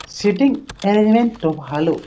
Sitting arrangement -ও ভালো।